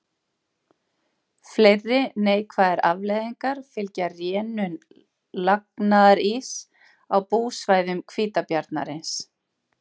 Fleiri neikvæðar afleiðingar fylgja rénun lagnaðaríss á búsvæðum hvítabjarnarins.